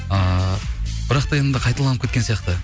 ыыы бірақ та енді қайталанып кеткен сияқты